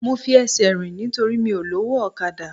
Mo fi ẹsẹ̀ rìn nítorí mi ò lówó ọ̀kadà